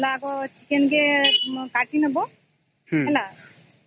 chicken କୁ କାଟିଦେବ ହେଲା ହୁଁ